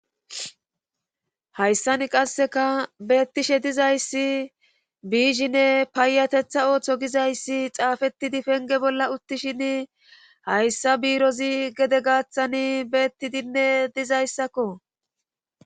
hayssani qasseka beettishe dizayssi biizhinne paayatetha ooththo gizayssi xaafettidi penge bolla uttishin hayssa biirozi gede gaaththan beettidinne dizayssakko